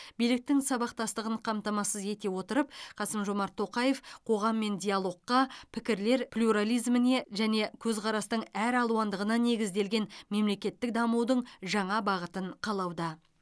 биліктің сабақтастығын қамтамасыз ете отырып қасым жомарт тоқаев қоғаммен диалогқа пікірлер плюрализміне және көзқарастың әралуандығына негізделген мемлекеттік дамудың жаңа бағытын қалауда